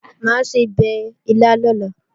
Mà á sebẹ̀ ilá lọ́la